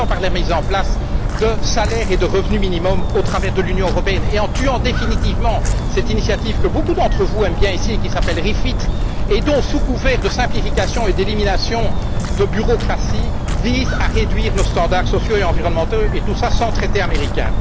Alors, commençons par la mise en place de salaires et de revenu minimum au travers de l'Union européenne et par supprimer définitivement cette initiative que beaucoup d'entre vous aiment bien ici et qui s'appelle REFIT, laquelle, sous couvert de implication et d'élimination de bureaucratie, vise à réduire nos standards sociaux et environnementaux, et tout cela sans traité américain.